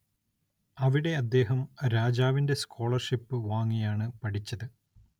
അവിടെ അദ്ദേഹം രാജാവിന്റെ സ്കോളർഷിപ്പ് വാങ്ങിയാണ് പഠിച്ചത്.